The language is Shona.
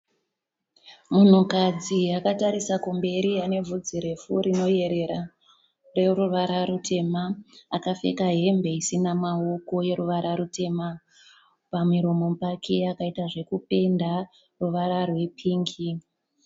Munhukadzi akatarisa kumberi, ane vhudzi refu rinoerera rineruvara rutema. Akapfeka hembe isina maoko yeruvara rutema. Pamuromo pake akaita zvekupenda ruvara rwepingi.